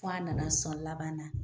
Fɔ a nana sɔn laban na